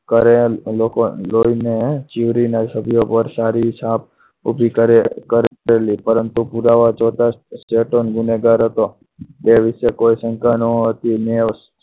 કરેલ લોકોને જોઈને ચીરના સભ્યો પર સારી છાપ ઊભી કરે કરેલી પરંતુ પુરાવા જોતા ચેતન ગુનેગાર હતો તે વિશે કોઈ શંકા ન હતી અને